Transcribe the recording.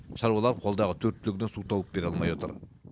шаруалар қолдағы төрт түлігіне су тауып бере алмай отыр